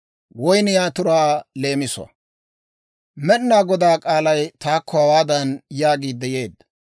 Med'inaa Godaa k'aalay taakko hawaadan yaagiidde yeedda;